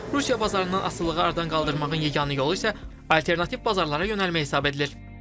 Rusiya bazarından asılılığı aradan qaldırmağın yeganə yolu isə alternativ bazarlara yönəlmək hesab edilir.